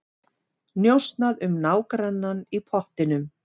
Njósnað um nágrannann í pottinum